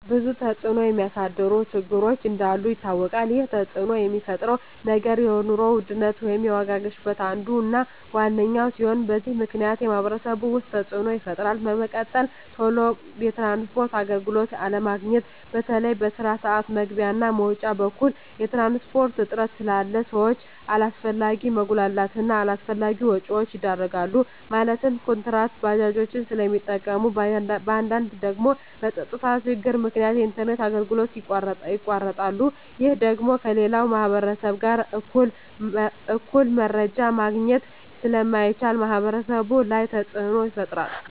ብዙ ተፅዕኖ የሚያሳድሩ ችግሮች እንዳሉ ይታወቃል ይህ ተፅዕኖ የሚፈጥረው ነገር የኑሮ ውድነት ወይም የዋጋ ግሽበት አንዱ እና ዋነኛው ሲሆን በዚህ ምክንያት በማህበረሰቡ ውስጥ ተፅዕኖ ይፈጥራል በመቀጠል ቶሎ የትራንስፖርት አገልግሎት አለማግኘት በተለይ በስራ ስዓት መግቢያ እና መውጫ በኩል የትራንስፖርት እጥረት ስላለ ሰዎች አላስፈላጊ መጉላላት እና አላስፈላጊ ወጪዎች ይዳረጋሉ ማለትም ኩንትራት ባጃጆችን ስለሚጠቀሙ በአንዳንድ ደግሞ በፀጥታ ችግር ምክንያት የኢንተርኔት አገልግሎቶች ይቋረጣሉ ይህ ደግሞ ከሌላው ማህበረሰብ ጋር እኩል መረጃ ማግኘት ስለማይቻል ማህበረሰቡ ላይ ተፅዕኖ ይፈጥራል